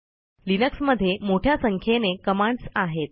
Linux मध्ये मोठ्या संख्येने कमांडस् आहेत